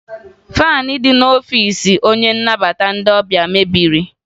Faanị dị n'ọfiisi onye nnabata ndị ọbịa mebiri